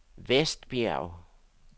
Vestbjerg